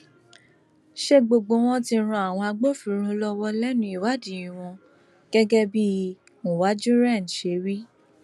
sa gbogbo wọn tí ń ran àwọn agbófinró lọwọ lẹnu ìwádìí wọn gẹgẹ bí uwájúrẹn ṣe wí